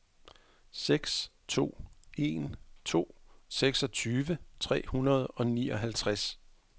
seks to en to seksogtyve tre hundrede og nioghalvtreds